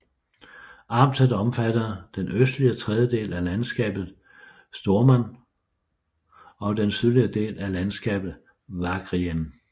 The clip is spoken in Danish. Amtet omfattede den østlige tredjedel af landskabet Stormarn og den sydlige del af landskabet Vagrien